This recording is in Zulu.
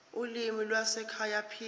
ulimi lwasekhaya p